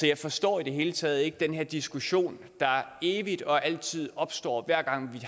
jeg forstår i det hele taget ikke den her diskussion der evigt og altid opstår hver gang vi